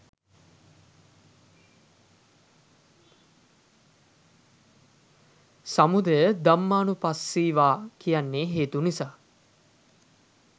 සමුදය ධම්මානුපස්සී වා කියන්නෙ හේතු නිසා